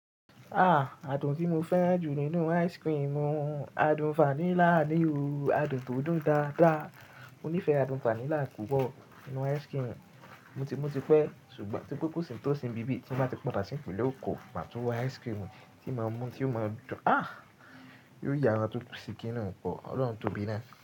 Ah! Adùn tí mo fẹ́ran jù nínú ice cream ni adùn vanilla ni o. Adùn tó dùn dáadáa. Mo ní fẹ adùn vanilla púpọ̀ nínú ice cream. Mo ti pẹ́ ṣùgbọ́n ti kókò tí ó sin bíbí ti ba ti padà sí ìpínlẹ̀ ekò, màá tún wo ice cream tí màá mú tí ó máa dùn. Ah! Yóò ya ẹran tó ti sin kí n dùn pọ̀. Ọlọ́run tóbi náà.